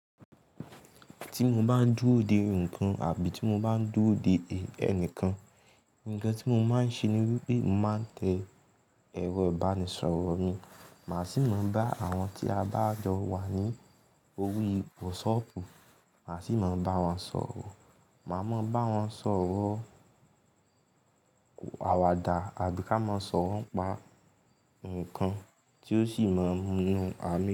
Tí mo bá ń dúró dè nǹkan àbí tí mo bá ń dúró dè ẹnìkan, nǹkan tí mo máa ń ṣe ni wípé màá tẹ èrọ ìbánisọ̀rọ̀ mi, màá sì máa bá àwọn tí a bá jọ wà ní orí WhatsApp, màá sì máa bá wọn sọ̀rọ̀. Màá máa bá wọn sọ̀rọ̀ àwàdà àbí ká máa sọ̀rọ̀ pa nǹkan tí ó sì máa mú mí ha mí.